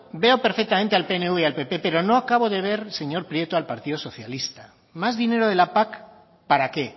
veo perfectamente al pnv y al pp pero no acabo de ver señor prieto al partido socialista más dinero de la pac para qué